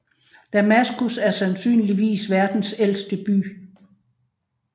Damaskus er sandsynligvis verdens ældste by